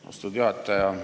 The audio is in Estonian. Austatud juhataja!